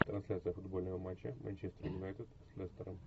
трансляция футбольного матча манчестер юнайтед с лестером